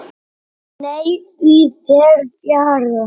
Nei, því fer fjarri.